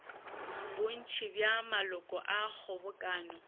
bontši bja maloko a kgobokano